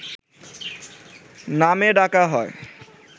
নামে ডাকা হয়